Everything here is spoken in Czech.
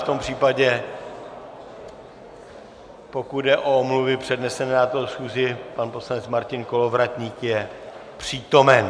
V tom případě, pokud jde o omluvy přednesené na této schůzi, pan poslanec Martin Kolovratník je přítomen.